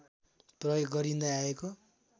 प्रयोग गरिँदै आइएको